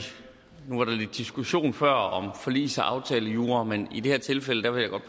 diskussion før om forligs og aftalejura men i det her tilfælde vil jeg godt